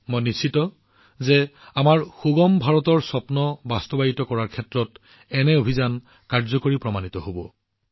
মোৰ সম্পূৰ্ণ বিশ্বাস যে এনে ধৰণৰ অভিযান আমাৰ সুগম ভাৰতৰ দৃষ্টিভংগী উপলব্ধি কৰাত যথেষ্ট কাৰ্যকৰী প্ৰমাণিত হব